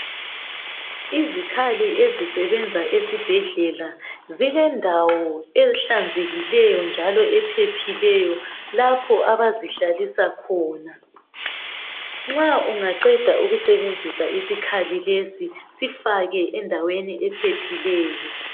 Izikhali ezisebenza esibhedlela zilendawo ehlanzekileyo njalo ephephileyo lapho abazihlalisa khona. Nxa ungaqeda ukusebenzisa isikhali lesi sifake endaweni ephephileyo.